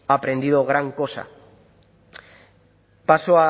aprendido gran cosa paso